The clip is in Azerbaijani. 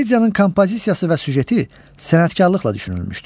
Komediyanın kompozisiyası və süjeti sənətkarlıqla düşünülmüşdür.